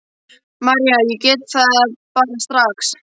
María: Ég gat það bara strax.